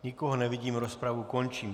Nikoho nevidím, rozpravu končím.